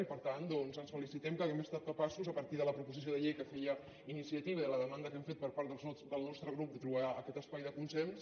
i per tant doncs ens felicitem que hàgim estat capaços a partir de la proposició de llei que feia iniciativa i de la demanda que hem fet per part del nostre grup de trobar aquest espai de consens